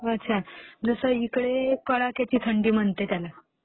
अच्छा. जसं इकडे कडाक्याची थंडी म्हणते त्याला.